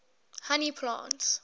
honey plants